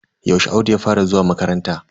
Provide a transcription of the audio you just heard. Yaushe Audu ya fara zuwa makaranta?